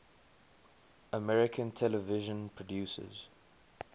american television producers